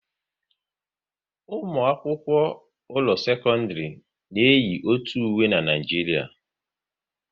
Ụmụ akwụkwọ ụlọ sekọndrị na eyi otu uwe n'Naijiria